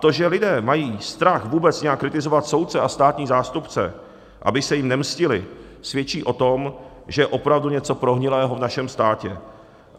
To, že lidé mají strach vůbec nějak kritizovat soudce a státní zástupce, aby se jim nemstili, svědčí o tom, že je opravdu něco prohnilého v našem státě.